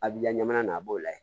A b'i ka ɲamana na a b'o lajɛ